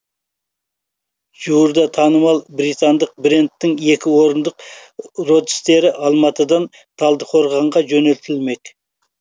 жуырда танымал британдық брендтің екі орындық родстері алматыдан талдықорғанға жөнелтілмек